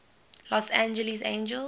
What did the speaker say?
los angeles angels